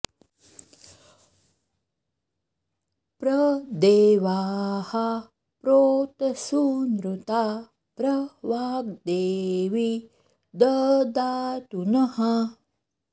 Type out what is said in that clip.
प्र दे॒वाः प्रोत सू॒नृता॒ प्र वाग्दे॒वी द॑दातु नः